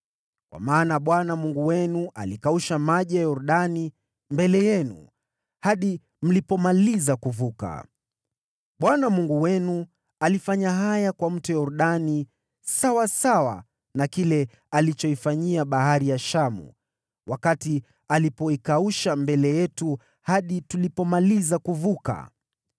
Kwa maana Bwana Mungu wenu alikausha maji ya Yordani mbele yenu, hadi mlipomaliza kuvuka. Bwana Mungu wenu alifanya haya kwa Mto Yordani sawasawa na kile alichoifanyia Bahari ya Shamu wakati alipoikausha mbele yetu hadi tulipomaliza kuvuka.